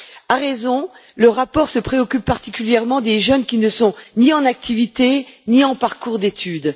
À raison, le rapport se préoccupe particulièrement des jeunes qui ne sont ni en activité, ni en parcours d'études.